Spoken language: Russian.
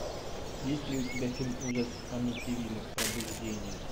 есть ли у тебя фильм ужас амитивилля пробуждение